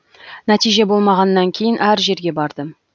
нәтиже болмағаннан кейін әр жерге бардым